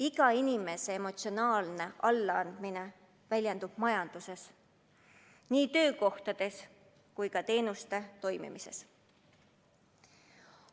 Iga inimese emotsionaalne allaandmine väljendub majanduses – nii töökohtades kui ka teenuste toimimises.